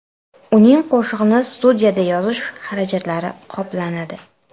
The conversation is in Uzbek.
Uning qo‘shig‘ini studiyada yozish xarajatlari qoplanadi.